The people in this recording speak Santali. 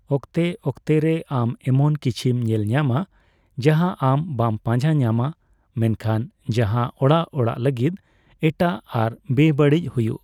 ᱚᱠᱛᱮ ᱚᱠᱛᱮ ᱨᱮ ᱟᱢ ᱮᱢᱚᱱ ᱠᱤᱪᱷᱤᱢ ᱧᱮᱞ ᱧᱟᱢᱟ ᱡᱟᱦᱟᱸ ᱟᱢ ᱵᱟᱢ ᱯᱟᱡᱟᱸ ᱧᱟᱢᱟ, ᱢᱮᱱᱠᱷᱟᱱ ᱡᱟᱦᱟᱸ ᱚᱲᱟᱜ ᱚᱲᱟᱜ ᱞᱟᱹᱜᱤᱫ ᱮᱴᱟᱜ ᱟᱨ ᱵᱮᱼᱵᱟᱹᱲᱤᱡ ᱦᱩᱭᱩᱜ ᱾